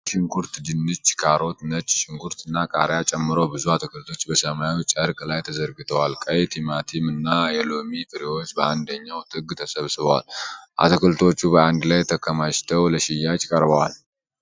ቀይ ሽንኩርት፣ ድንች፣ ካሮት፣ ነጭ ሽንኩርት እና ቃሪያ ጨምሮ ብዙ አትክልቶች በሰማያዊ ጨርቅ ላይ ተዘርግተዋል። ቀይ ቲማቲሞች እና የሎሚ ፍሬዎች በአንደኛው ጥግ ተሰብስበዋል። አትክልቶቹ በአንድ ላይ ተከማችተው ለሽያጭ ቀርበዋል።